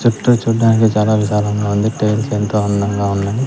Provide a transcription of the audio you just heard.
చుట్టూ చూడ్డానికి చాలా విశాలంగా ఉంది టైల్స్ ఎంతో అందంగా ఉన్నాయి.